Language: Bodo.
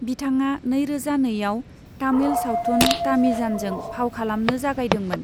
बिथाङा नैरोजा नैआव तामिल सावथुन तामिजानजों फाव खालामनो जागायदोंमोन।